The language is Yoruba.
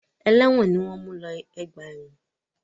Ẹlẹ́wọ̀n ni wọ́n ń mú lọ ọgbà ẹ̀wọ̀n.